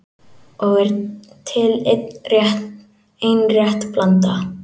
Og er til ein rétt blanda